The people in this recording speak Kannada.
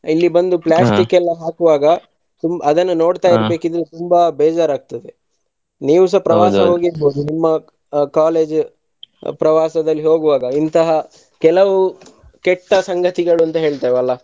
ಇಲ್ಲಿ ಬಂದು ಎಲ್ಲಾ ಹಾಕುವಾಗ ತುಂ~ ಅದನ್ನ ತುಂಬಾ ಬೇಜಾರಾಗ್ತದೆ ನೀವುಸ ನಿಮ್ಮ college ಪ್ರವಾಸದಲ್ಲಿ ಹೋಗುವಾಗ ಇಂತಹ ಕೆಲವು ಕೆಟ್ಟ ಸಂಗತಿಗಳು ಅಂತ ಹೇಳ್ತೀವಲ್ಲಾ.